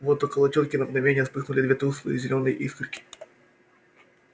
вот около тётки на мгновение вспыхнули две тусклые зелёные искорки